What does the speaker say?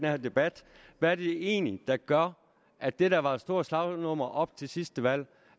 her debat hvad er det egentlig der gør at det der var et stort slagnummer op til sidste valg